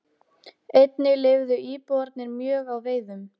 Einnig lifðu íbúarnir mjög á veiðum.